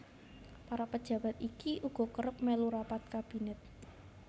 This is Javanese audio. Para pejabat iki uga kerep mèlu rapat kabinet